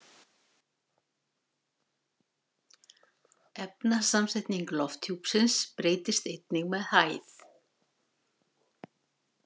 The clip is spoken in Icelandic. Efnasamsetning lofthjúpsins breytist einnig með hæð.